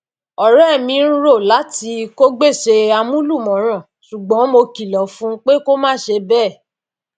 ọrẹ mi ń rò láti kó gbèsè amúlùmọràn ṣùgbọn mo kilọ fún un pé kó má ṣe bẹẹ